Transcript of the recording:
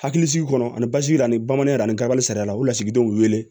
Hakilisigi kɔnɔ ani basigi a ni bamananya ani kaba sara la u bɛ lasigidenw wele